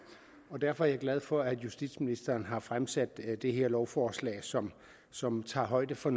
derfor er jeg glad for at justitsministeren har fremsat det her lovforslag som som tager højde for